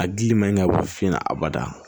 A gili ma ɲi ka bɔ finna a bada